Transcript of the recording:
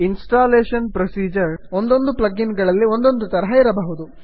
installation producer ಒಂದೊಂದು plug in ಗಳಲ್ಲಿ ಒಂದೊಂದು ತರಹ ಇರಬಹುದು